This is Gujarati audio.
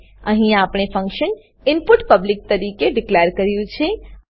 અહીં આપણે ફંક્શન ઇનપુટ ઈનપુટ પબ્લિક તરીકે ડીકલેર કર્યું છે